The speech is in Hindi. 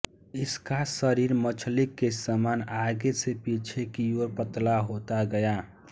इसका शरीर मछली के समान आगे से पीछे की ओर पतला होता गया है